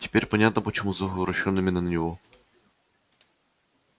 теперь понятно почему зов обращён именно на него